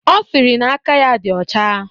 Ọ sịrị na aka ya dị ọcha